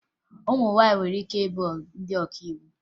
Ụmụ nwaanyị nwere ike ịbụ ndị ọkàiwu